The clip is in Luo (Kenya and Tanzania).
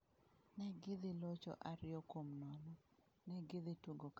"""Ne gidhi locho ariyo kuom nono, ne gidhi tugo kaka ng'ato."